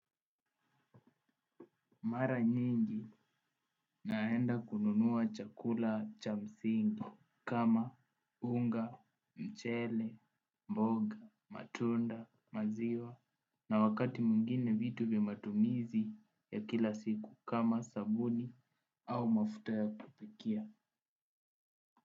Mara nyingi naenda kununuwa chakula cha msingi kama unga, mchele, mboga, matunda, maziwa na wakati mwingine vitu vya matumizi ya kila siku kama sabuni au mafuta ya kupikia.